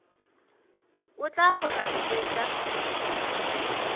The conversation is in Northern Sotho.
o tla kgona go hwetša